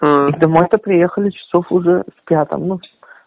домой то приехали часов уже в пятом ну